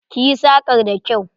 Ki yi sakar da kyau!